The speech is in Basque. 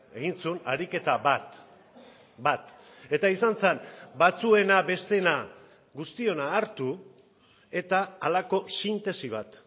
egin zuen ariketa bat bat eta izan zen batzuena besteena guztiona hartu eta halako sintesi bat